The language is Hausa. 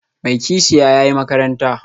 Mai kishiya, ya yi makaranta